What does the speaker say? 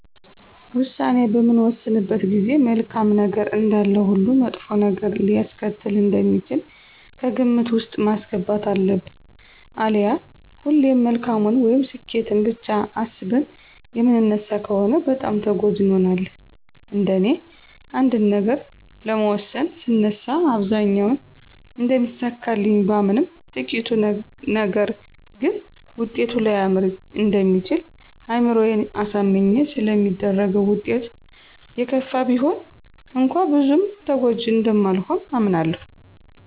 ውሳኔ በምንወስንበት ጊዜ መልካም ነገር እንዳለው ሁሉ መጥፎ ነገር ሊያስከትል እንደሚችል ከግምት ውስጥ ማስገባት አለብን አሊያ ሁሌም መልካሙን (ስኬትን)ብቻ አስበን የምንነሳ ከሆነ በጣም ተጎጅ እንሆናለን። እንደኔ አንድን ነገር ለመወሰን ስነሳ አብዛኛውን እንደሚሳካልኝ ባምንም ጥቂቱ ነገር ግን ውጤቱ ላያመር እንደሚችል አይምሮየን አሳምኜ ስለሚደረገው ውጤቱ የከፋ ቢሆን እንኳ ብዙም ተጎጅ እንደማልሆን አምናለሁ።